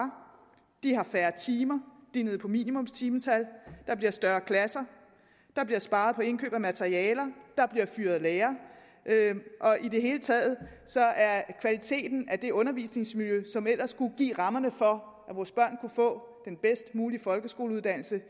de har færre timer de er nede på minimumstimetallet der bliver større klasser der bliver sparet på indkøb af materialer der bliver fyret lærere og i det hele taget er kvaliteten af det undervisningsmiljø som ellers skulle give rammerne for at få den bedst mulige folkeskoleuddannelse